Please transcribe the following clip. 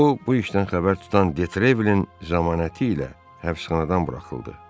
O, bu işdən xəbər tutan Detrevilin zəmanəti ilə həbsxanadan buraxıldı.